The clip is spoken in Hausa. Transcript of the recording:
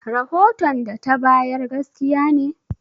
Rahoton da ta bayar gaskiya ne?